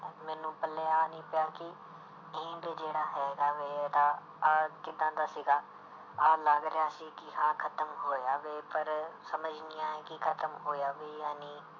ਮੈਨੂੰ ਪੱਲੇ ਆਹ ਨੀ ਪਿਆ ਕਿ ਜਿਹੜਾ ਹੈਗਾ ਵੇ ਇਹਦਾ ਆਹ ਕਿੱਦਾਂ ਦਾ ਸੀਗਾ, ਆਹ ਲੱਗ ਰਿਹਾ ਸੀ ਕਿ ਹਾਂ ਖ਼ਤਮ ਹੋਇਆ ਵੇ ਪਰ ਸਮਝ ਨੀ ਆਇਆ ਕਿ ਖ਼ਤਮ ਹੋਇਆ ਵੀ ਜਾਂ ਨਹੀਂ।